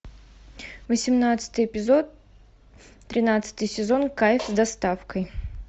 восемнадцатый эпизод тринадцатый сезон кайф с доставкой